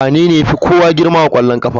Wanene ya fi kowa girma a ƙwallon ƙafa?